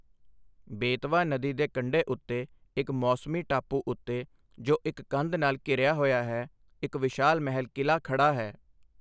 ਬੇਤਵਾ ਨਦੀ ਦੇ ਕੰਢੇ ਉੱਤੇ ਇੱਕ ਮੌਸਮੀ ਟਾਪੂ ਉੱਤੇ, ਜੋ ਇੱਕ ਕੰਧ ਨਾਲ ਘਿਰਿਆ ਹੋਇਆ ਹੈ, ਇੱਕ ਵਿਸ਼ਾਲ ਮਹਿਲ ਕਿਲ੍ਹਾ ਖੜ੍ਹਾ ਹੈ।